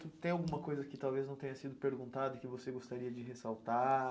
Tem alguma coisa que talvez não tenha sido perguntada e que você gostaria de ressaltar?